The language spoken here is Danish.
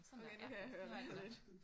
Okay nu kan jeg høre det lidt